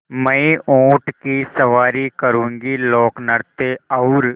मैं ऊँट की सवारी करूँगी लोकनृत्य और